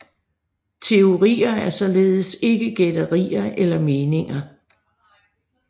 Teorier er således ikke gætterier eller meninger